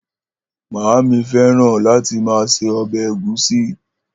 Màámi fé̩ràn láti máa se o̩bè̩ ègúsí